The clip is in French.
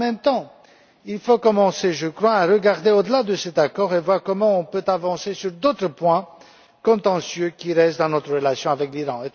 En même temps, il faut commencer, je crois, à regarder au delà de cet accord et voir comment nous pouvons avancer sur d'autres points contentieux qui marquent encore notre relation avec l'Iran.